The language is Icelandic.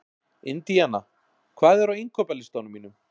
Indíana, hvað er á innkaupalistanum mínum?